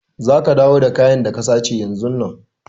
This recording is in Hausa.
Za ka dawo da kayan da ka sace yanzun nan!